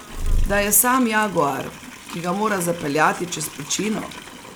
Da je Sam jaguar, ki ga mora zapeljati čez pečino?